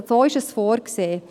So ist es vorgesehen.